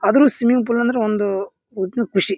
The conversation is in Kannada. ಆದ್ರೂ ಸ್ವಿಮ್ಮಿಂಗ್ ಫುಲ್ ಅಂದ್ರೆ ಒಂದು ಒಟ್ಟು ಖುಷಿ.